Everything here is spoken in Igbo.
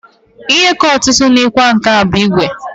Ihe ka ọtụtụ n'ịkwa nkà bụ ígwè.